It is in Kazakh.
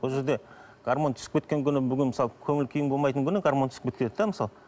бұл жерде гормон түсіп кеткен күні бүгін мысалы көңіл күйім болмайтын күні гормон түсіп кетеді де мысалы